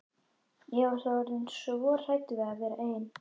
Ég var þá orðin svo hrædd við að vera ein.